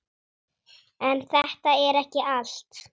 En þetta er ekki allt.